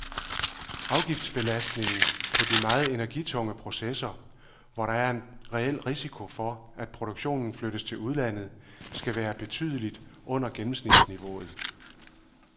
Afgiftbelastningen på de meget energitunge processer, hvor der er en reel risiko for, at produktionen flyttes til udlandet, skal være betydeligt under gennemsnitsniveauet.